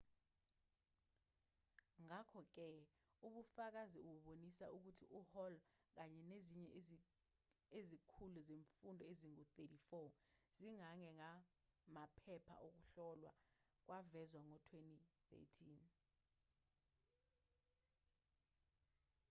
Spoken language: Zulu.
ngakho-ke ubufakazi bubonisa ukuthi uhall kanye nezinye izikhulu zemfundo ezingu-34 zigange ngamaphepha okuhlolwa kwavezwa ngo-2013